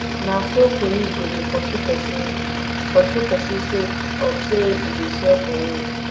na so police go dey pursue pesin pursue pesin sake of sey e dey sell for road